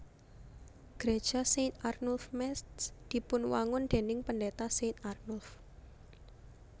Gréja Saint Arnulf Métz dipunwangun déning Pendéta Saint Arnulf